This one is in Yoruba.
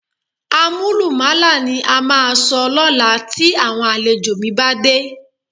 Àmúlùmálà ni a máa sọ lọ́la tí àwọn àlejò mi bá dé